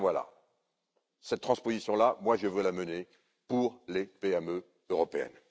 Voilà cette transposition là, moi, je veux la mener pour les PME européennes.